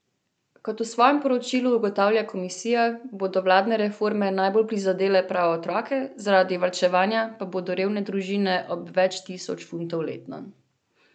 Kot v svojem poročilu ugotavlja komisija, bodo vladne reforme najbolj prizadele prav otroke, zaradi varčevanja pa bodo revne družine ob več tisoč funtov letno.